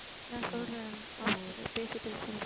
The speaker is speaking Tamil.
நான் சொல்றேன் அவங்ககிட்ட பேசிட்டு சொல்றேன்